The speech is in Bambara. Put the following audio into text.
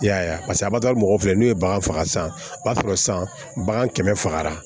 I y'a ye paseke a b'a fɔ mɔgɔw filɛ n'u ye bagan faga san o b'a sɔrɔ san bagan kɛmɛ fagara